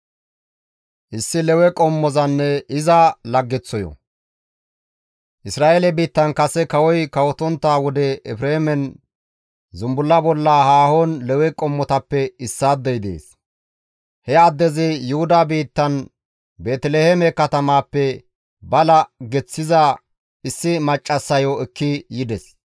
Isra7eele biittan kase kawoy kawotontta wode Efreemen zumbulla bolla haahon Lewe qommotappe issaadey dees. He addezi Yuhuda biittan Beeteliheeme katamaappe ba laggeththiza issi maccassayo ekki yides.